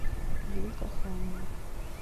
юлька храмова